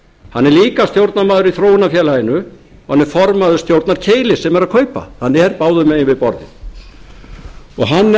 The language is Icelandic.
hann er líka stjórnarmaður í þróunarfélaginu og hann er formaður stjórnar keilis sem er að kaupa hann er báðum megin við borðið hann er